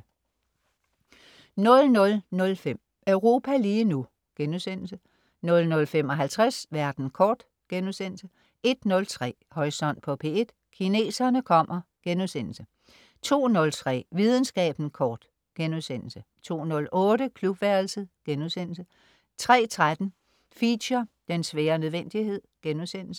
00.05 Europa lige nu* 00.55 Verden kort* 01.03 Horisont på P1: Kineserne kommer* 02.03 Videnskaben kort* 02.08 Klubværelset* 03.13 Feature: Den svære nødvendighed*